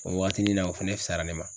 O wagatini na o fɛnɛ fisayara ne ma.